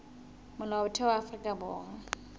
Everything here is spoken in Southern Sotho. molaotheo wa afrika borwa o